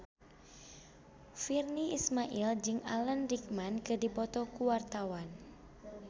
Virnie Ismail jeung Alan Rickman keur dipoto ku wartawan